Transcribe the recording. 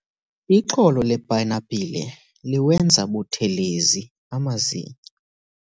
Ixolo lepayinapile liwenza buthelezi amazinyo.